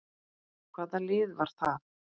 Hvaða lið var það?